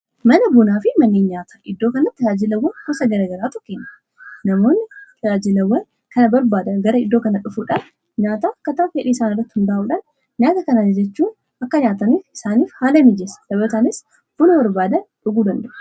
Mana bunaa fi manni nyaataa iddoo kanatti tajaajilawwan gosa garaa garaatu kennama. Namoonni tajaajilawwan kana barbaada gara iddoo kanaa dhufuudhaan nyaata akka fedhii isaanii irratti hundaa'uudhaan nyaata kana ajajachuun akka nyaatan isaaniif haala miijeessa. Dabalataanis Buna barbaadan dhuguu danda'u.